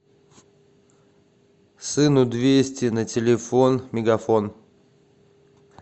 сыну двести на телефон мегафон